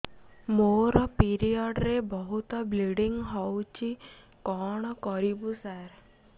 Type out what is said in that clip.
ମୋର ପିରିଅଡ଼ ରେ ବହୁତ ବ୍ଲିଡ଼ିଙ୍ଗ ହଉଚି କଣ କରିବୁ ସାର